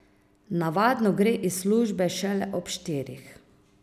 Navadno gre iz službe šele ob štirih.